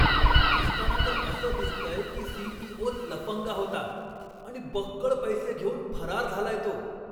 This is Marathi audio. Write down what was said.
दिसताना तर असं दिसतंय की सी.ई.ओ.च लफंगा होता आणि बक्कळ पैसे घेऊन फरार झालाय तो.